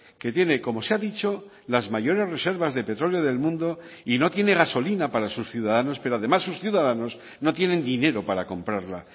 que tiene como se ha dicho las mayores reservas de petróleo del mundo y no tiene gasolina para sus ciudadanos pero además sus ciudadanos no tienen dinero para comprarla